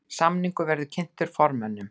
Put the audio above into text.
Samningur verði kynntur formönnum